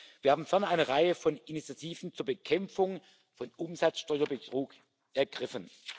Wir haben ferner eine Reihe von Initiativen zur Bekämpfung von Umsatzsteuerbetrug ergriffen.